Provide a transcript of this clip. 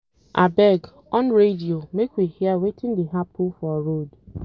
Abeg, on radio make we hear wetin dey happen for road